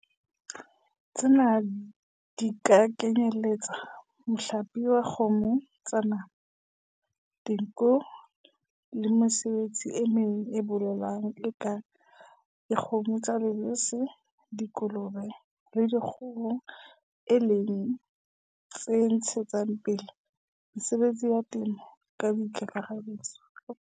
Tsena di ka kenyeletsa mohlape wa kgomo tsa nama, dinku le mesebetsi e meng ya boleng e kang dikgomo tsa lebese, dikolobe le dikgoho, e leng tse ntshetsang pele mesebetsi ya temo ka kakaretso.